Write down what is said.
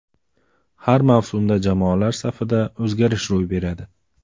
Har mavsumda jamoalar safida o‘zgarish ro‘y beradi.